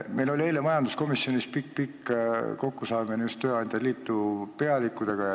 Meil oli eile majanduskomisjonis pikk-pikk kokkusaamine just tööandjate liidu pealikutega.